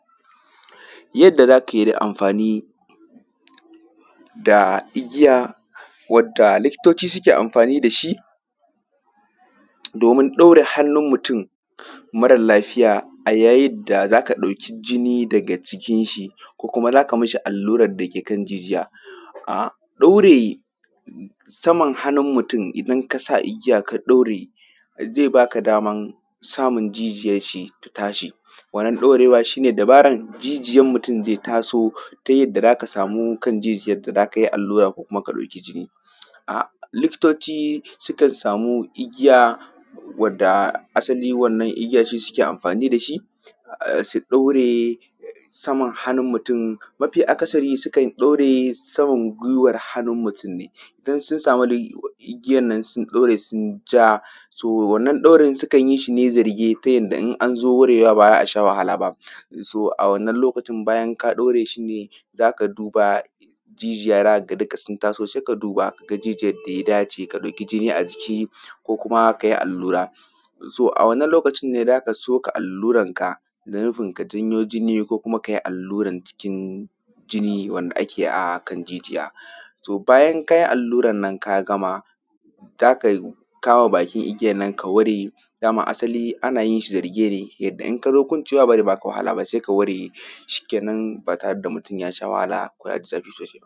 Yadda za ka yi da amfani, da igiya, wadda likitoci suke amfani da shi, domin ɗaure hannun mutum marar lafiya, a yayid da za ka ɗauki jini daga jikin shi, ko kuma za ka mishi allurar da ke kan jijiya. A ɗaure saman hannun mutum, idan ka sa igiya ka ɗaure, ze ba ka daman samin jijiyash shi ta tashi. Wannan ɗaurewa shi ne dabaran jijiyan mutum ze taso, ta yadda za ka samu kan jijiyan da za ka yi allura ko kuma ka ɗauki jini. A likitoci, sukan sami igiya, wadda asali wannan igiya, shi suke amfani da shi, a; su ɗaure, a; saman hanun mutum Mafi akasari sukan ɗaure saman gwiwar hanun mutun ne, idan sun sami dai i; igiyan nan, sun ɗaure sun ja “so” wannan ɗaurin sukan yi shi ne zarge, ta yanda in an zo warewa ba za a sha wahala ba. ‘So” a wannan lokaci, bayan ka ɗaure shi ne, za ka duba jijiya za ka ga dika sun taso, se ka duba ka ga jijiyar da ya dace ka ɗauki jini a jiki, ko kuma ka yi allura. “So” a wannan lokacin ne za ka soka alluranka, da nufin ka janyo jini ko kuma ka yi alluran cikin jini wanda ake a kan jijiya. “So”, bayan ka yi alluran nan ka gama, za ka kama bakin igiyan nan ka ware, da ma asali ana yin shi zarge ne, yanda in ka zo kwancewa ba ze ba ka wahala ba, se ka ware, shikenan, ba tare da mutun ya sha wahala ko ya ji zafi sosai ba.